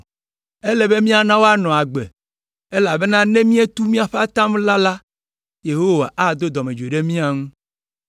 Ele be míana woanɔ agbe, elabena ne mietu míaƒe atam la la, Yehowa ado dɔmedzoe ɖe mia ŋu.”